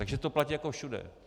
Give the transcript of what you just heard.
Takže to platí jako všude.